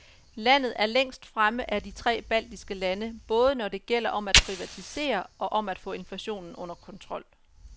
Landet er længst fremme af de tre baltiske lande, både når det gælder om at privatisere og om at få inflationen under kontrol.